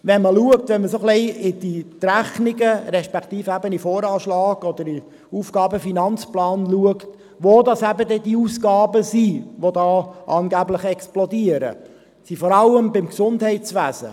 Wenn man in die Rechnungen respektive in den Voranschlag oder den AFP schaut, wo diese Ausgaben sind, die angeblich explodieren, sind diese vor allem im Gesundheitswesen.